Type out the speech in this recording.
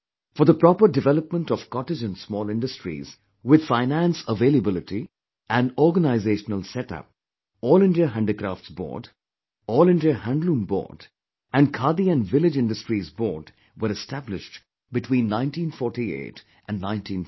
For the proper development of cottage and small industries with finance availability and organizational setup All India Handicrafts Board, All India Handloom Board and Khadi & Village Industries Board were established between 1948 and 1950